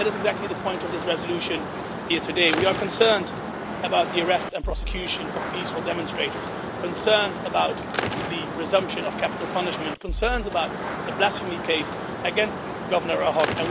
That is exactly the point of this resolution here today we are concerned about the arrest and prosecution of peaceful demonstrators, concerned about the resumption of capital punishment, and concerned about the blasphemy case against Governor Ahok.